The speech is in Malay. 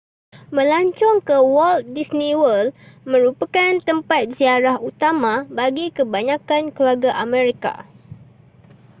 melancong ke walt disney world merupakan tempat ziarah utama bagi kebanyakan keluarga amerika